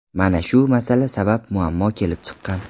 Mana shu masala sabab muammo kelib chiqqan.